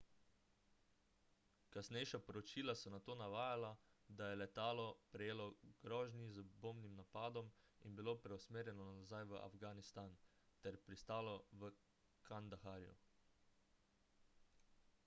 kasnejša poročila so nato navajala da je letalo prejelo grožnji z bombnim napadom in bilo preusmerjeno nazaj v afganistan ter pristalo v kandaharju